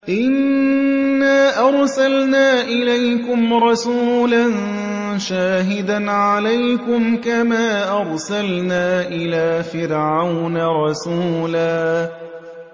إِنَّا أَرْسَلْنَا إِلَيْكُمْ رَسُولًا شَاهِدًا عَلَيْكُمْ كَمَا أَرْسَلْنَا إِلَىٰ فِرْعَوْنَ رَسُولًا